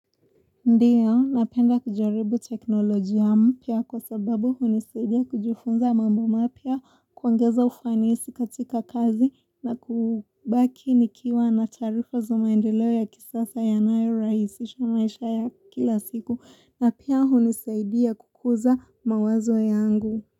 Ndiyo, napenda kujaribu teknoloji mpya kwa sababu hunisadia kujifunza mambo mapia kuongeza ufanisi katika kazi na kubaki nikiwa na taarifa za maendeleo ya kisasa yanayo rahisisha maisha ya kila siku na pia hunisidia kukuza mawazo yangu.